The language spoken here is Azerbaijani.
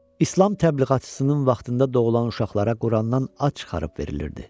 İslam təbliğatçısının vaxtında doğulan uşaqlara Qurandan ad çıxarıb verilirdi.